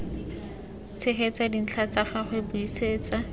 tshegetsa dintlha tsa gagwe buisetsa